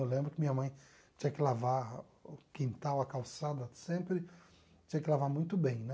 Eu lembro que minha mãe tinha que lavar o quintal, a calçada, sempre tinha que lavar muito bem, né?